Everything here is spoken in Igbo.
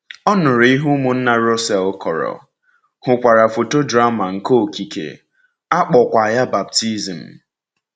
Ọ nụrụ ihe ụmụnna Russell kọrọ, hụkwara “Foto–Drama nke Okike,” a kpọọkwa ya baptizim.